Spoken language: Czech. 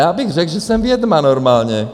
Já bych řekl, že jsem vědma normálně.